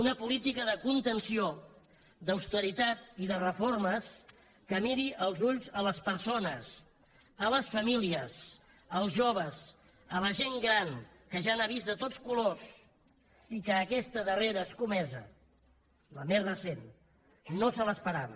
una política de contenció d’austeritat i de reformes que miri als ulls les persones les famílies els joves la gent gran que ja n’ha vist de tots colors i que aquesta darrera escomesa la més recent no se l’esperava